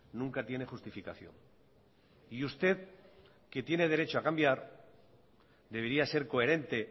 nunca tiene justificación y usted que tiene derecho a cambiar debería ser coherente